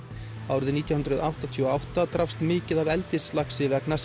árið nítján hundruð áttatíu og átta drapst mikið af eldislaxi vegna